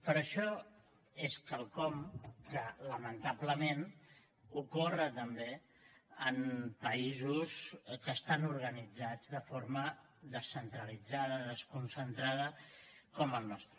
però això és quelcom que lamentablement ocorre també en països que estan organitzats de forma descentralitzada desconcentrada com el nostre